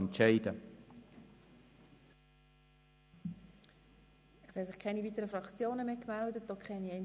Es gibt keine weiteren Fraktions- oder Einzelvoten.